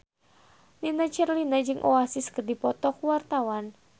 Nini Carlina jeung Oasis keur dipoto ku wartawan